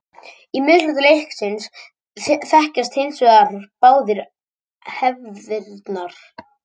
Í miðhluta landsins þekkjast hins vegar báðar hefðirnar.